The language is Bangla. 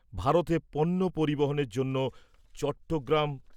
ভারতে পণ্য পরিবহনের জন্য চট্টগ্রাম